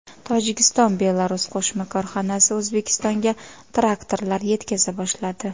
Tojikiston-Belarus qo‘shma korxonasi O‘zbekistonga traktorlar yetkaza boshladi.